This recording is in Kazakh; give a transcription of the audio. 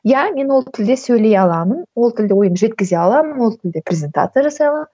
иә мен ол тілде сөйлей аламын ол тілде ойымды жеткізе аламын ол тілде презентация жасай аламын